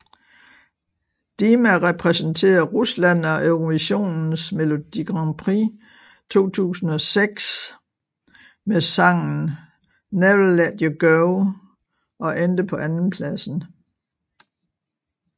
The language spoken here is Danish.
Dima repræsenterede Rusland ved Eurovisionens melodi grand prix 2006 med sangen Never Let You Go og endte på andenpladsen